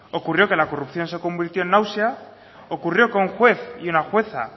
ocurrió que la corrupción se convirtió en náusea ocurrió que un juez y una jueza